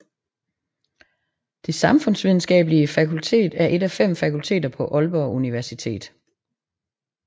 Det Samfundsvidenskabelige Fakultet er et af fem fakulteter på Aalborg Universitet